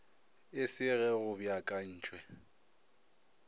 e se ge go beakantwe